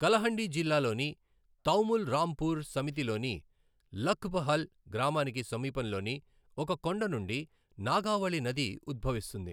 కలహండి జిల్లాలోని తౌముల్ రాంపూర్ సమితి లోని లఖ్ బహల్ గ్రామానికి సమీపంలోని ఒక కొండ నుండి నాగావళి నది ఉద్భవిస్తుంది.